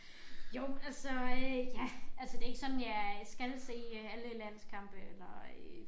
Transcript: Jo altså øh ja altså det ikke sådan jeg skal se alle landskampe eller øh